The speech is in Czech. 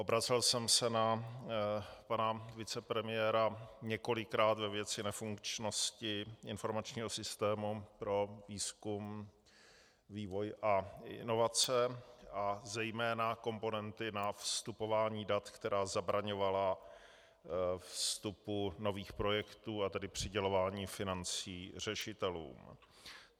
Obracel jsem se na pana vicepremiéra několikrát ve věci nefunkčnosti informačního systému pro výzkum, vývoj a inovace a zejména komponenty na vstupování dat, která zabraňovala vstupu nových projektů, a tedy přidělování financí řešitelům.